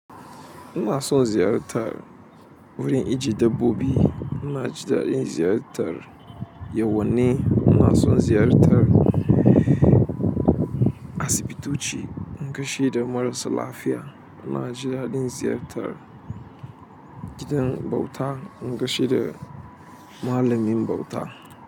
Ina son ziyartar wurin ijiye dabbobi, ina jin daɗin ziyartar yawonai, ina son ziyartar asibitoci in gashi da maras lafiya, ina ji daɗin ziyartar gidan bauta in gashi da malamin bauta.